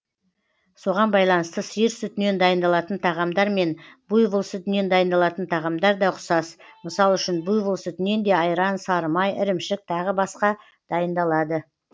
соған байланысты сиыр сүтінен дайындалатын тағамдар мен буйвол сүтінен дайындалатын тағамдар да ұқсас мысал үшін буйвол сүтінен де айран сары май ірімшік тағы басқа дайындалады